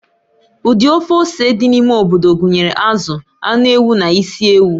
Ụdị of ose dị n'ime obodo gụnyere azụ, anụ ewu na isi ewu.